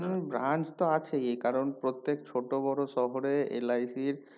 হুম branch তো আছেই কারণ প্রত্যেক ছোটো বোরো শহরে LIC র